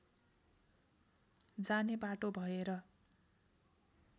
जाने बाटो भएर